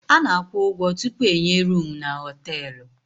Ana akwụ ụgwọ tupu enye roomu n' hotelú.